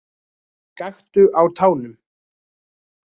Gakktu á tánum.